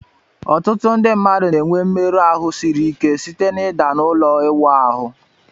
Ọtụtụ ndị na-enwe mmerụ ahụ siri ike site na ịda n'ụlọ ịwụ ahụ